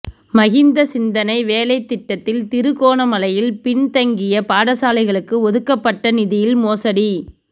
மஹிந்த சிந்தனை வேலைத் திட்டத்தில் திருகோணமலையில் பின் தங்கிய பாடசாலைகளுக்கு ஒதுக்கப்பட்ட நிதியில் மோசடி